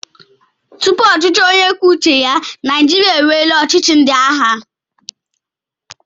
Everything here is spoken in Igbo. Tupu ọchịchị onye kwuo uche ya, Naịjirịa enweela ọchịchị ndị agha.